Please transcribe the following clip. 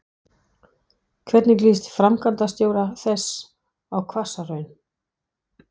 Hvernig líst framkvæmdastjóra þess á Hvassahraun?